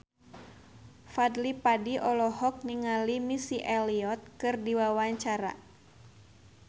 Fadly Padi olohok ningali Missy Elliott keur diwawancara